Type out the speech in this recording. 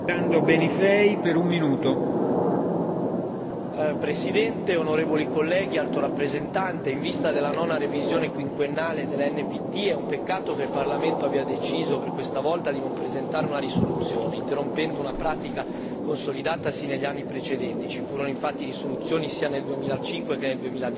Signor Presidente, onorevoli colleghi, signora Alto rappresentante, in vista della nona revisione quinquennale dell'NPT è un peccato che il Parlamento abbia deciso per questa volta di non presentare una risoluzione, interrompendo una pratica consolidata sino agli anni precedenti. Ci furono infatti risoluzioni sia nel 2005 che nel